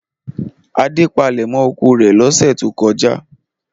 Adé palẹ̀mọ́ oko rẹ̀ lọ́sẹ̀ tó lọ?